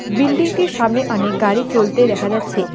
বিল্ডিংটির সামনে অনেক গাড়ি চলতে দেখা যাচ্ছে।